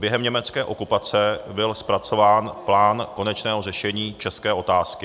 Během německé okupace byl zpracován plán konečného řešení české otázky.